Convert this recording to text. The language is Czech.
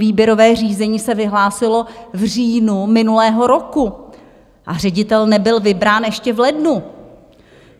Výběrové řízení se vyhlásilo v říjnu minulého roku a ředitel nebyl vybrán ještě v lednu.